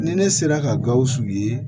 Ni ne sera ka gawusu ye